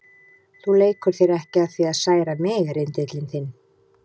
Þú leikur þér ekki að því að særa mig, rindillinn þinn.